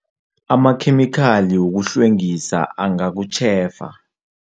Amakhemikhali wokuhlwengisa angakutjhefa.